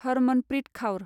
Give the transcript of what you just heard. Harmanpreet Kaur